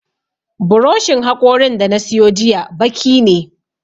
Buroshin haƙorin da na siyo jiya baki ne